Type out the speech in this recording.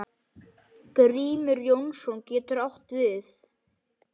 Grímur Jónsson getur átt við